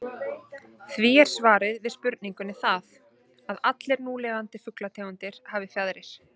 Því er svarið við spurningunni það, að allar núlifandi fuglategundir hafa fjaðrir.